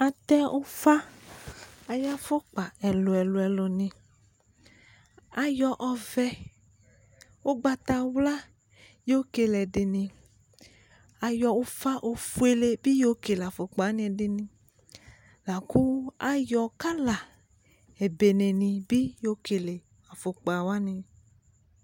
Atɛ ʊfa ayʊ afʊkpa ɛlʊ ɛlʊ ɛlʊ nɩ ayɔ ɔvɛ ʊgbatawla yɔkele ɛdɩnɩ ayɔ ʊfa ofʊele bɩ yɔ kele afukpa ɛdɩnɩ lakʊ ayɔ kala ebenenɩ bɩ yɔkele afʊkpa wanɩ